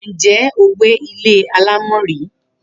Ǹjé̩ o gbé ilé alámò̩ rí?